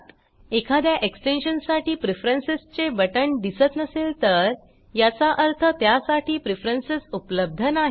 एखाद्या एक्सटेन्शन साठी प्रेफरन्स चे बटण दिसत नसेल तर याचा अर्थ त्यासाठी प्रेफरन्स उपलब्ध नाहीत